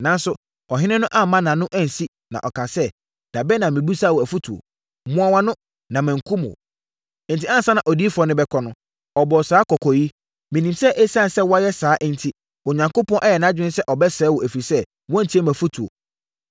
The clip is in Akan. Nanso, ɔhene no amma nʼano ansi, na ɔkaa sɛ, “Da bɛn na mebisaa wo afotuo? Mua wʼano na mankum wo!” Enti, ansa na odiyifoɔ no rebɛkɔ no, ɔbɔɔ saa kɔkɔ yi, “Menim sɛ ɛsiane sɛ woayɛ saa enti, Onyankopɔn ayɛ nʼadwene sɛ ɔbɛsɛe wo, ɛfiri sɛ, woantie mʼafotuo.”